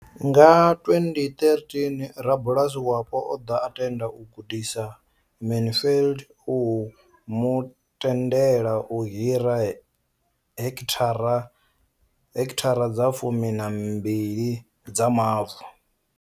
Nga 2013, rabulasi wapo o ḓo tenda u gudisa Mansfield u mu tendela u hira heki thara dza fumi na mbili dza mavu.